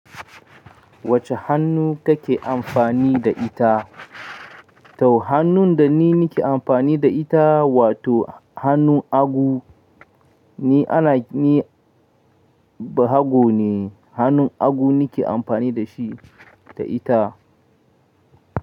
Wacce hannu kake amfani da ita? Tau hannun da ni nake amfani da ita wato hannun hagu, ni ana-- ni bahago ne, hannun hagu nake amfani da shi ta ita.